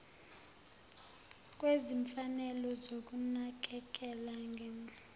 kwezimfanelo zokunakekela ngem